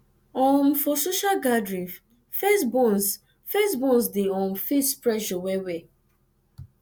um for social gathering first born first born dey um face pressure well well